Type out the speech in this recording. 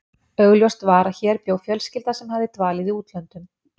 Augljóst var að hér bjó fjölskylda sem hafði dvalið í útlöndum.